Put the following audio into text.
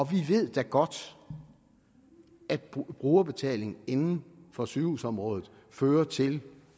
vi ved da godt at brugerbetaling inden for sygehusområdet fører til